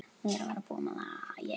Þetta er Diddi þinn.